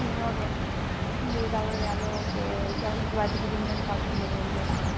মতন। দিয়ে গেল। গিয়ে বলছে আমাদের বাড়িতে তো কুটুমজন সব ছিল বলল